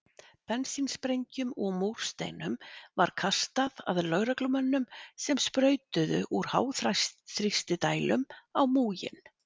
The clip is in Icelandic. Bensínsprengjum og múrsteinum var kastað að lögreglumönnum sem sprautuðu úr háþrýstidælum á múginn.